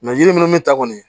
yiri minnu bɛ ta kɔni